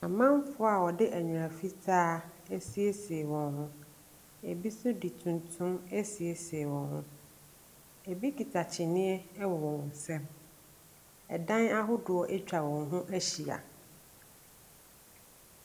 Amanfoɔ a wɔde nnwera fitaa asiesie wɔn ho. Bi nso de tuntum asiesie wɔn ho. Ɛbi kita kyiniiɛ wɔ wɔn nsam. Ɛdan ahodoɔ atwa wɔn ho ahyia.